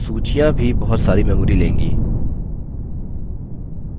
किन्तु सूचियाँ भी बहुत सारी memory लेंगी